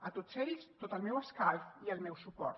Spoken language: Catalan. a tots ells tot el meu escalf i el meu suport